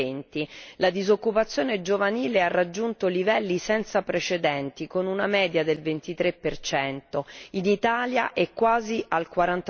2020. La disoccupazione giovanile ha raggiunto livelli senza precedenti, con una media del 23, mentre in Italia è quasi al